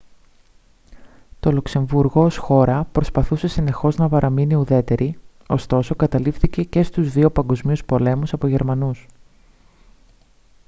το λουξεμβούργο ως χώρα προσπαθούσε συνεχώς να παραμείνει ουδέτερη ωστόσο καταλήφθηκε και στους δύο παγκόσμιους πολέμους από τους γερμανούς